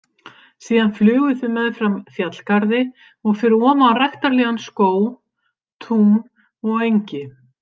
Síðan flugu þau meðfram fjallgarði og fyrir ofan ræktarlegan skóg, tún og engi.